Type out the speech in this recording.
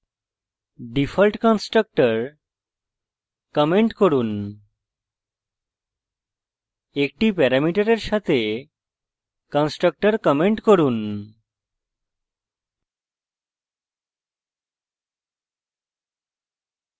default constructor comment করুন 1টি প্যারামিটারের সাথে constructor comment করুন